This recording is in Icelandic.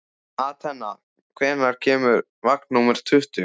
Atena, hvenær kemur vagn númer tuttugu?